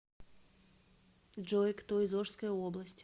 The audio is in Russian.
джой кто из ошская область